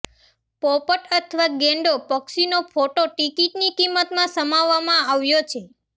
પોપટ અથવા ગેંડો પક્ષીનો ફોટો ટિકિટની કિંમતમાં સમાવવામાં આવ્યો છે